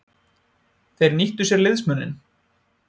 Þeir nýttu sér liðsmuninn.